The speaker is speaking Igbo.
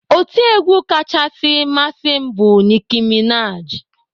Otiegwu kachasị masị m bụ Nicki Minaj.